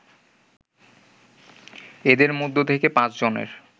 এদের মধ্যে থেকে ৫ জনের